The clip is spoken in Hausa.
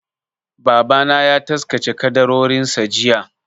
Babana ya taskace ƙaddarorinsa jiya.